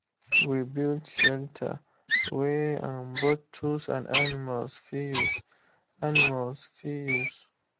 we build shelter wey um both tools and animals fit use. animals fit use.